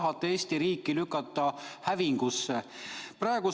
Kas tahate Eesti riigi lükata hävingusse?